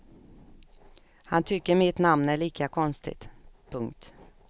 Han tycker mitt namn är lika konstigt. punkt